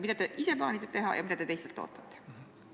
Mida te ise plaanite teha ja mida te teistelt ootate?